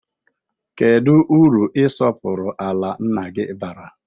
Kedụ uru isọpụrụ ala nna gị bara?